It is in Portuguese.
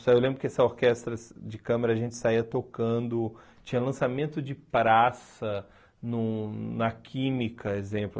Eu lembro que essa orquestra de câmera a gente saía tocando, tinha lançamento de praça no na Química, exemplo.